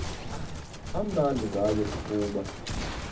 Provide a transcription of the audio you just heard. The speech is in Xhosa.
amnandi ngayo kukuba